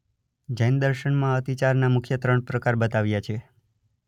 જૈન દર્શનમાં અતિચારના મુખ્ય ત્રણ પ્રકાર બતાવ્યાં છે.